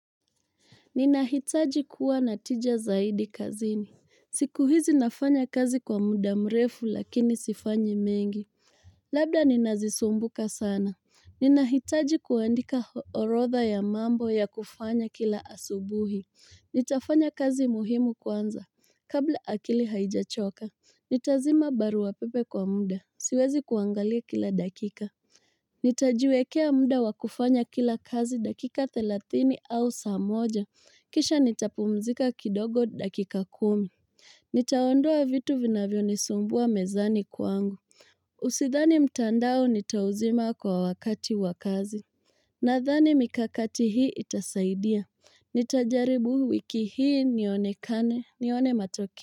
Ninahitaji kuwa natija zaidi kazini. Siku hizi nafanya kazi kwa muda mrefu lakini sifanyi mengi. Labda ninazisumbuka sana. Ninahitaji kuandika orotha ya mambo ya kufanya kila asubuhi. Nitafanya kazi muhimu kwanza. Kabla akili haijachoka. Nitazima barua wapepe kwa muda. Siwezi kuangalia kila dakika. Nitajuekea muda wakufanya kila kazi dakika thilatini au samoja. Kisha nitapumzika kidogo dakika kumi. Nitaondua vitu vinavyo nisumbua mezani kwangu. Usithani mtandao nitauzima kwa wakati wakazi. Nathani mikakati hii itasaidia. Nitajaribu wiki hii nione kane, nione matoki.